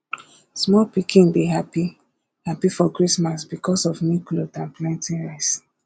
small pikin dey happy happy for christmas because of new cloth and plenty rice